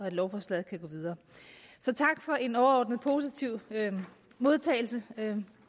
af lovforslaget kan gå videre så tak for en overordnet positiv modtagelse det